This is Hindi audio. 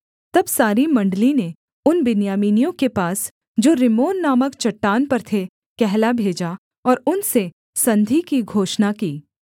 तब सारी मण्डली ने उन बिन्यामीनियों के पास जो रिम्मोन नामक चट्टान पर थे कहला भेजा और उनसे संधि की घोषणा की